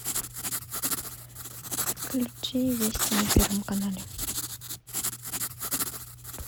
включи вести на первом канале